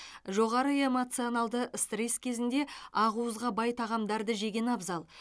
жоғары эмоционалды стресс кезінде ақуызға бай тағамдарды жеген абзал